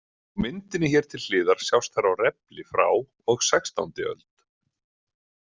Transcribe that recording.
Á myndinni hér til hliðar sjást þær á refli frá og sextándi öld.